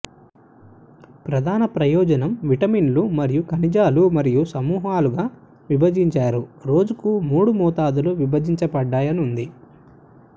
ప్రధాన ప్రయోజనం విటమిన్లు మరియు ఖనిజాలు మరియు సమూహాలుగా విభజించారు రోజుకు మూడు మోతాదులు విభజించబడ్డాయి ఉంది